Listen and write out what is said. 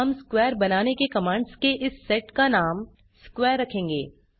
हम स्क्वेयर बनाने के कमांड्स के इस सेट का नाम स्क्वेयर रखेंगे